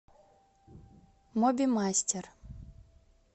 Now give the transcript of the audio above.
мобимастер